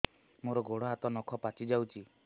ମୋର ଗୋଡ଼ ହାତ ନଖ ପାଚି ଯାଉଛି